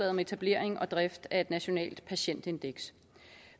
om etablering og drift af nationalt patientindeks